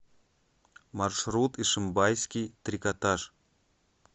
маршрут ишимбайский трикотаж